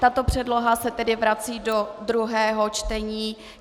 Tato předloha se tedy vrací do druhého čtení.